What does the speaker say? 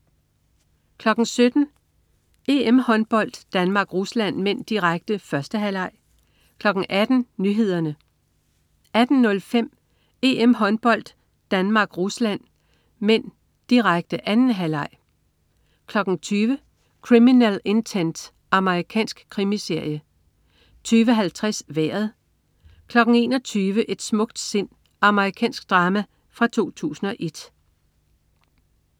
17.00 EM-Håndbold: Danmark-Rusland (m), direkte. 1. halvleg 18.00 Nyhederne 18.05 EM-Håndbold: Danmark-Rusland (m), direkte. 2. halvleg 20.00 Criminal Intent. Amerikansk krimiserie 20.50 Vejret 21.00 Et smukt sind. Amerikansk drama fra 2001